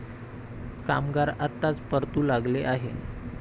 कामगार आताच परतू लागले आहे.